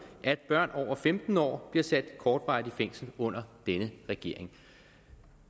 at børn over femten år bliver sat kortvarigt i fængsel under denne regering